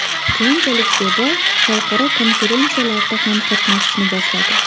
Keyinchalik Zebo xalqaro konferensiyalarda ham qatnashishni boshladi.